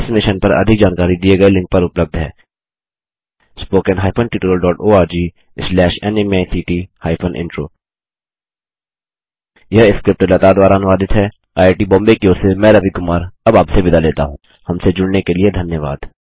इस मिशन पर अधिक जानकारी दिए गए लिंक पर उपलब्ध है httpspoken tutorialorgNMEICT Intro यह स्क्रिप्ट लता द्वारा अनुवादित है हमसे जुड़ने के लिए धन्यवाद160